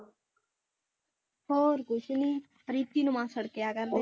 ਹੋਰ ਕੁਛ ਨੀ ਰਿੰਕੀ ਨੂੰ ਮਾਸੜ ਕਿਹਾ ਕਰਦੇ